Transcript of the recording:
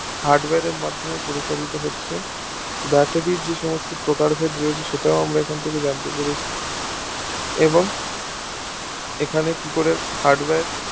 hardware এর মাধ্যমে পরিচালিত হচ্ছে baterie র যে সকল প্রকার ভেদ আছে সেটা ও আমরা এখন থেকে জানতে পেরেছি এবং এখানে কি করে hardware